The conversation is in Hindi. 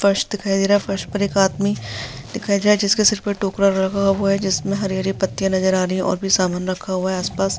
फर्श दिखाई दे रहा है। फर्श पर एक आदमी दिखाई दे रहा है जिसके सर पर टोकरा रखा हुआ है जिसमें हरी-हरी पत्तियां नजर आ रही हैं। और भी सामान रखा हुआ है आसपास।